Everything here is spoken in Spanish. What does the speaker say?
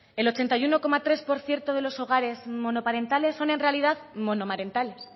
el ochenta y uno coma tres por ciento de los hogares monoparentales son en realidad monomarentales